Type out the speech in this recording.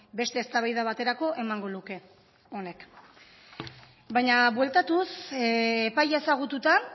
beste eztabaida baterako emango luke honek baina bueltatuz epaia ezagututa